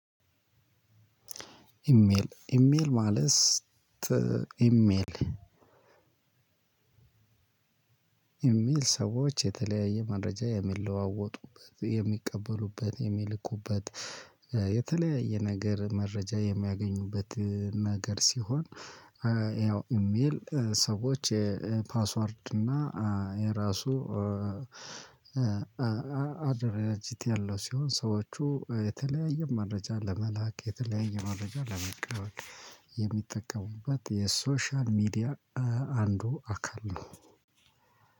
ኢሜል ኢሜል ማለት ኢሜል ኢሜል ሰዎች የተለያየ መረጃ የሚለዋወጡበት የሚቀበሉበት የሚልኩበት የተለያየ ነገር መረጃ የሚያገኙበት ነገር ሲሆን። ያው ኢሜል ሰዎች የፓስወርድ እና የራሱ አደረጃጀት ያለው ሲሆን ሰዎቹ የተለያየ መረጃ ለመላክ የተለያየ መረጃ ለመቀበል የሚጠቀሙበት የሶሻል ሚዲያ አንዱ አካል ነው።